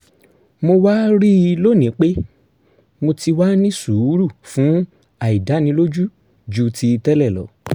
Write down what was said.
mo wá rí i lónìí pé mo ti wá ní sùúrù fún àìdánilójú ju ti tẹ́lẹ̀ lọ